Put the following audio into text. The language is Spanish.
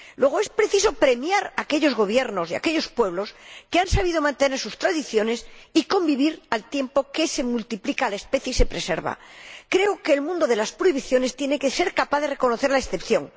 Luego, es preciso premiar a aquellos gobiernos y a aquellos pueblos que han sabido mantener sus tradiciones y convivir al tiempo que se multiplica y se preserva la especie. Creo que el mundo de las prohibiciones tiene que ser capaz de reconocer la excepción.